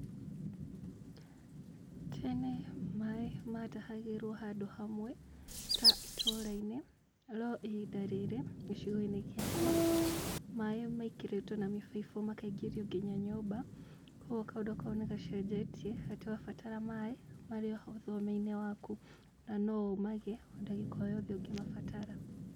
Tene maaĩ matahagĩrwo handũ hamwe ta ĩtũũra-inĩ, no ihinda rĩrĩ, gicigo-inĩ gĩakwa maaĩ maikĩrĩtwo na mĩbaibũ makaingĩrio ngĩnya nyũmba, koguo kaũndũ kau nĩgacenjetie, atĩ wabatara maaĩ marĩ o hau thome-inĩ waku. Na no ũmagĩe o dagika o yothe ũngĩmabatara.